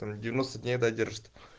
там девяносто дней да держит